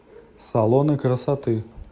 салоны красоты